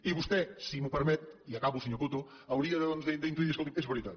i vostè si m’ho permet i acabo senyor coto hauria d’intuir de dir escolti és veritat